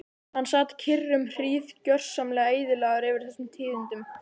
Hann sat kyrr um hríð, gjörsamlega eyðilagður yfir þessum tíðindum.